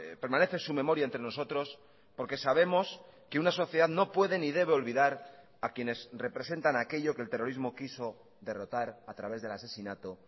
permanece su memoria entre nosotros porque sabemos que una sociedad no puede ni debe olvidar a quienes representan aquello que el terrorismo quiso derrotar a través del asesinato